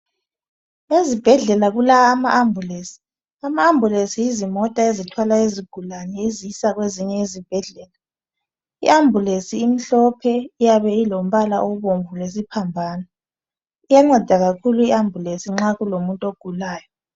Ezibhedlela kula ama ambulensi, ama ambulensi yizimota ezithwala izigulane izisa kwezinye izibhedlela . I ambulensi imhlophe iyabe ilombala obomvu lesiphambano. Iyanceda kakhulu i ambulensi nxa kulomuntu ogulayo.